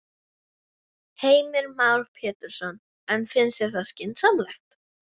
Heimir Már Pétursson: En finnst þér það skynsamlegt?